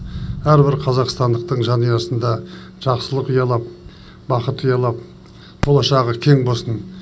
әрбір қазақстандықтың жанұясында жақсылық ұялап бақыт ұялап болашағы кең болсын